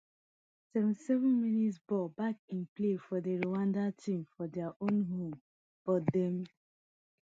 seventy-sevenmins ball back in play fro di rwandan team for dia own home but dem